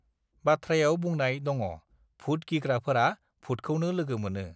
बाथ्रायाव बुंनाय दङभुत गिग्राफोराभुतखौनो लोगो मोनो